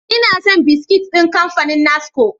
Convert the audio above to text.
Ina son biskit ɗin kamfanin NASCO.